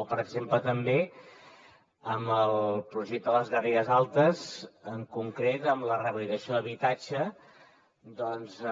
o per exemple també amb el projecte de les garrigues altes en concret amb la rehabilitació d’habitatge